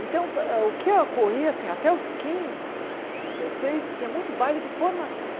Então, hã o que ocorria, assim, até os quinze, dezesseis, tinha muito baile de formatura.